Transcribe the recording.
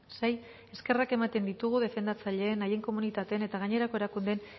sei eskerrak ematen ditugu defendatzaileen haien komunitateen eta gainerako erakundeen